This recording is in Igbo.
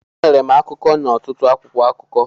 Enwere m akụkọ n'ọtụtụ akwụkwọ akụkọ.